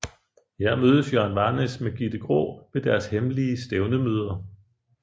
Her mødes Jørgen Varnæs med Gitte Graa ved deres hemmelige stævnemøder